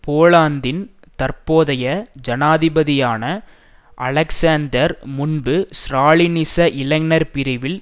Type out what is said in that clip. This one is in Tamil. போலாந்தின் தற்போதைய ஜனாதிபதியான அலெக்சாந்தர் முன்பு ஸ்ராலினிச இளைஞர் பிரிவில்